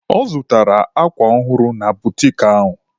Ọ zụtara akwa ọhụrụ na butiki ahụ